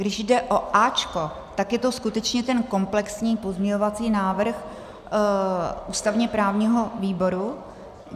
Když jde o A, tak je to skutečně ten komplexní pozměňovací návrh ústavně-právního výboru.